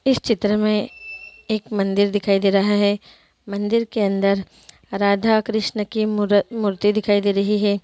इस चित्र में एक मंदिर दिखाई दे रहा है मंदिर के अंदर राधा कृष्ण की मूर्ति दिखाई दे रही है ।